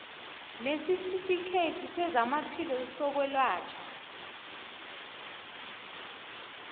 nesitifikhethi sezamaphilo sokwelatjhwa